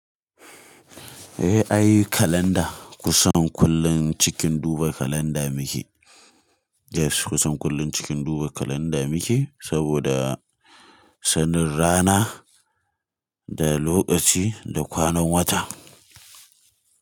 Eh, ayi kalanda kusan kullun cikin duba kalanda muke. Yes kusan kullun cikin duba kalanda muke saboda sanin rana da lokaci da kwanan wata.